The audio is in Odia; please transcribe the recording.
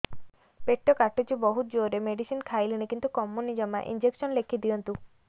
ପେଟ କାଟୁଛି ବହୁତ ଜୋରରେ ମେଡିସିନ ଖାଇଲିଣି କିନ୍ତୁ କମୁନି ଜମା ଇଂଜେକସନ ଲେଖିଦିଅନ୍ତୁ